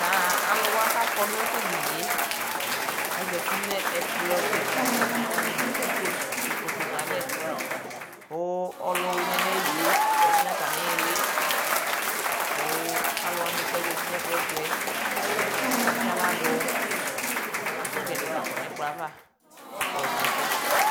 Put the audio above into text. taa alʋwa kakɔ nʋ tɛɖinie aƶati nʋ ɛkplɔkika diɛtʋ katani atsi ikoto nalɛ kʋ ɔlʋwini nayilie ɔƶati nata niili kʋ alʋwani kʋ alʋwani kaƶati nɛkplɔɛtʋɛ atsaɣla ɖʋ ɛkʋgɛɖɛ lakɔ nɛkplɔava kakayɔ srɔɛsɛ